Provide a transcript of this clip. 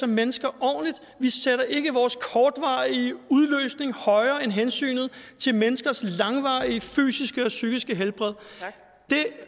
mennesker ordentligt vi sætter ikke vores kortvarige udløsning højere end hensynet til menneskers langvarige fysiske og psykiske helbred det